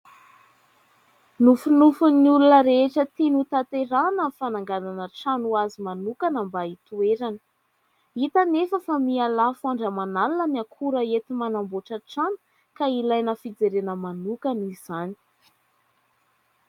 Nofinofin'ny olona rehetra tiany ho tanterahana ny fananganana trano ho azy manokana mba hitoerana, hita anefa fa mihalafo andro aman'alina ny akora enti-manamboatra trano ka ilaina fijerena manokana izany.